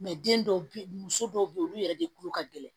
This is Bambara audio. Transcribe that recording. den dɔw be yen muso dɔw be yen olu yɛrɛ de kulo ka gɛlɛn